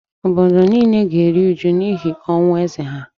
obodo nile na-eru uju n’ihi ọnwụ eze ha